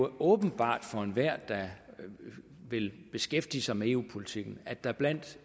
åbenbart for enhver der vil beskæftige sig med eu politikken at der blandt